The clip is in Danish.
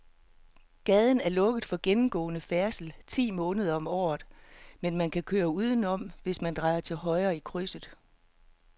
Gaden er lukket for gennemgående færdsel ti måneder om året, men man kan køre udenom, hvis man drejer til højre i krydset.